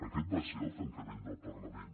aquest va ser el tancament del parlament